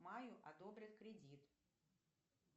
маю одобрят кредит